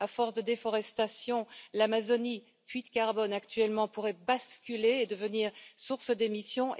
À force de déforestation, l'Amazonie, puits de carbone actuellement, pourrait basculer et devenir source d'émissions.